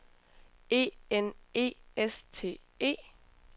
E N E S T E